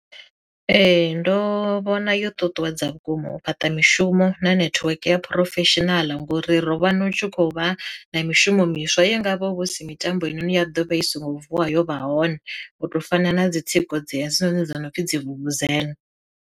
Ee ndo vhona yo ṱuṱuwedza vhukuma u fhaṱa mishumo na netiweke ya professional ngori ro vha na u tshi khou vha na mishumo miswa ye ngavho vhu si mitambo ine ya ḓovha i songo vuwa yo vha hone, u to fana na dzi tsiko dze dzi hone dzo no pfhi dzi vuvuzela.